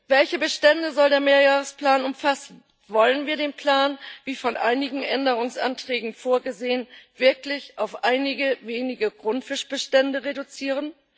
Welche Bestände soll der Mehrjahresplan umfassen? Wollen wir den Plan wie von einigen Änderungsanträgen vorgesehen wirklich auf einige wenige Grundfischbestände reduzieren?